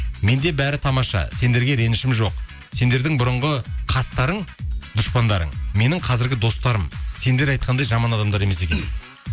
менде бәрі тамаша сендерге ренішім жоқ сендердің бұрынғы қастарың дұшпандарың менің қазіргі достарым сендер айтқандай жаман адамдар емес екен